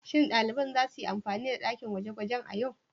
Shin daliban za su yi amfani da dakin gwaje-gwaje a yau?